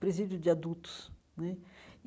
Presídio de adultos né.